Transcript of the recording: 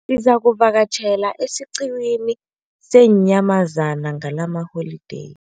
Sizakuvakatjhela esiqhiwini seenyamazana ngalamaholideyi.